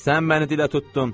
Sən məni dilə tutdun.